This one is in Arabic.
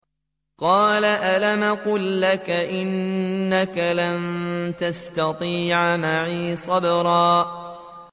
۞ قَالَ أَلَمْ أَقُل لَّكَ إِنَّكَ لَن تَسْتَطِيعَ مَعِيَ صَبْرًا